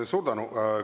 Suur tänu!